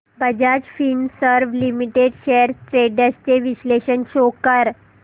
Bajaj Finserv limited shares trends चे विश्लेषण show कर